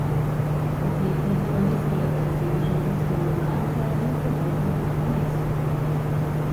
Oklepniki pa niso le pred sedežem ruske mornarice, temveč se vozijo kar po mestu.